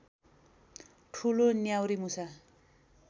ठुलो न्याउरीमुसा